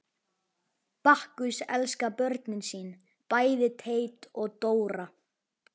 Bakkus elskar börnin sín, bæði Teit og Dóra.